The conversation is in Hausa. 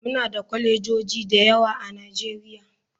Muna da kwalejoji da yawa a nigeria.